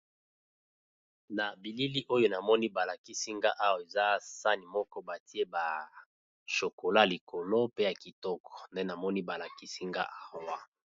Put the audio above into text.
Na bilili oyo namoni ba lakisi nga awa eza sani moko batie ba shokola likolo pe ya kitoko nde namoni ba lakisi nga awa.